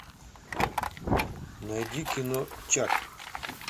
найди кино чак